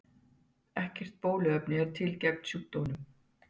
Ekkert bóluefni er til gegn sjúkdómnum.